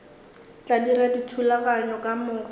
tla dira dithulaganyo ka moka